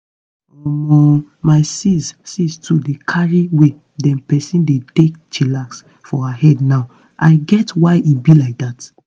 omo my sis sis too dey carry way dem peson dey take chillax for her head na now i get why e be like dat.